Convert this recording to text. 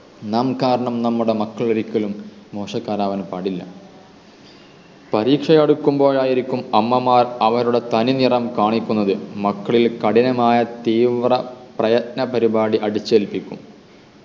നാം കാരണം നമ്മുടെ മക്കൾ ഒരിക്കലും മോശക്കാരാകാൻ പാടില്ല പരീക്ഷ അടുക്കുമ്പോൾ ആയിരിക്കും അമ്മമാർ അവരുടെ തനിനിറം കാണിക്കുന്നത് മക്കളിൽ കഠിനമായ തീവ്ര പ്രയത്‌ന പരുപാടി അടിച്ചേൽപ്പിക്കും